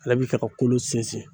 Ale bi kɛ ka kolo sinsin